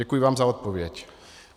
Děkuji vám za odpověď.